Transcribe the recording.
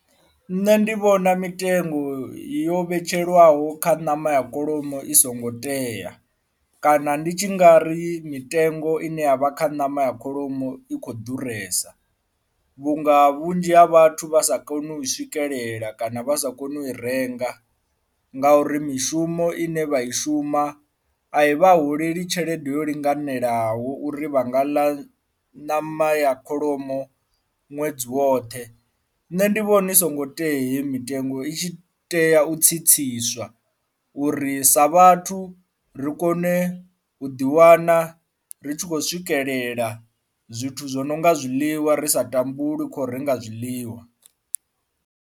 Nṋe ndi vhona mitengo yo vhetshelwaho kha ṋama ya kholomo i songo tea kana ndi tshi ngari mitengo ine ya vha kha ṋama ya kholomo i kho ḓuresa, vhunga vhunzhi ha vhathu vha sa koni u swikelela kana vha sa koni u i renga ngauri mishumo ine vha i shuma a i vha holela tshelede yo linganelaho uri vha nga ḽa ṋama ya kholomo ṅwedzi woṱhe. Nṋe ndi vhona i songo tea hei mitengo i tshi tea u tsitsiswa uri sa vhathu ri kone u ḓiwana ri tshi khou swikelela zwithu zwo no nga zwiḽiwa ri sa tambuli kho renga zwiḽiwa.